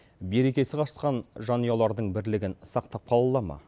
берекесі қашқан жанұялардың бірлігін сақтап қала ала ма